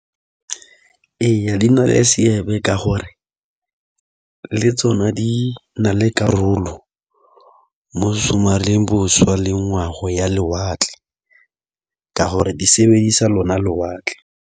Eya di na le seabe ka gore le tsona di na le karolo mo go somareleng bošwa le ngwago ya lewatle ka gore di sebedisa lona lewatle.